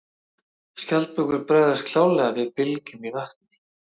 Skjaldbökur bregðast klárlega við bylgjum í vatni.